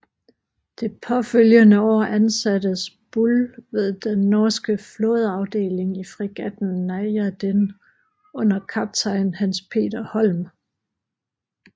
Det påfølgende år ansattes Buhl ved den norske flådeafdeling i fregatten Najaden under kaptajn Hans Peter Holm